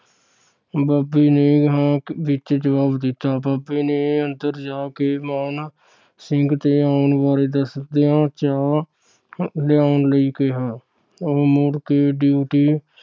ਬਾਬੇ ਨੇ ਹਾਂ ਵਿਚ ਜਵਬ ਦਿੱਤਾ । ਬਾਬੇ ਨੂੰ ਅੰਦਰ ਜਾ ਕੇ ਮਾਣ ਸਿੰਘ ਦੇ ਆਉਣ ਬਾਰੇ ਦੱਸਦਿਆਂ ਚਾਹ ਲਿਆਉਣ ਲਈ ਕਿਹਾ। ਉਹ ਮੁੜ ਕੇ ਡਿਉਟੀ